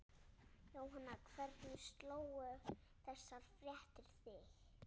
Jóhanna, hvernig slógu þessar fréttir þig?